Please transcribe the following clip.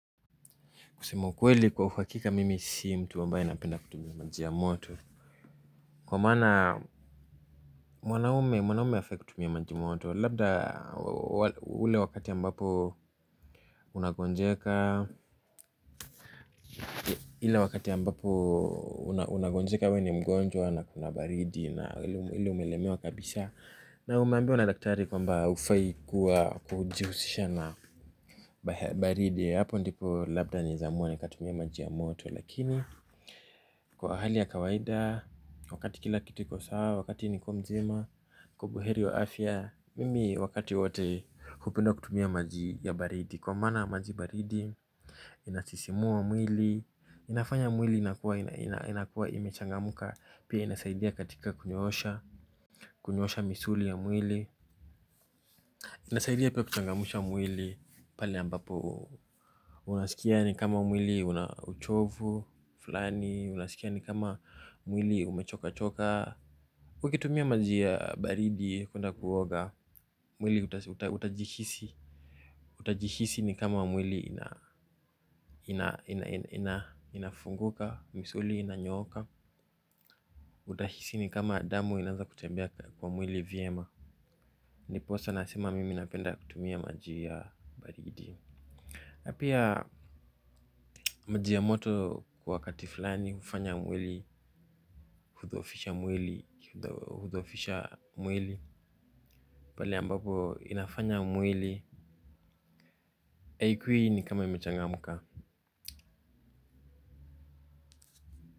Kusema ukweli kwa uhakika mimi si mtu ambae napenda kutumia maji yamoto. Kwa mana mwanaume mwanaume hafai kutumia maji moto. Labda ule wakati ambapo unangonjeka. Ile wakati ambapo unangonjeka we ni mgonjwa na kuna baridi. Na ile umeelemewa kabisaa na umeambiwa na daktari kwamba haufai kuwa kuhujihusisha na baridi. Hapo ndipo labda naweza amua nikatumia maji yamoto. Lakini kwa hali ya kawaida, wakati kila kitu kiko sawa, wakati niko mzima, niko buheri wa afya, mimi wakati wote hupenda kutumia maji ya baridi, kwa mana maji baridi, inasisimua mwili, inafanya mwili inakua inakuwa imechangamka, pia inasaidia katika kunyoosha, kunyosha misuli ya mwili, inasaidia pia kuchangamsha mwili, pali ambapo, unasikia ni kama mwili unauchovu, fulani unasikia ni kama mwili umechochoka. Ukitumia maji ya baridi kwenda kuoga. Mwili utajihisi. Utajihisi ni kama mwili inafunguka. Misuli inanyooka. Utahisi ni kama damu inaanza kutembea kwa mwili vyema. Niposa anasema mimi napenda kutumia maji ya baridi pia maji ya moto wakati fulani hufanya mwili, hudhoofisha mwili, hudhoofisha mwili. Pale ambapo inafanya mwili akili ni kama imechang mka.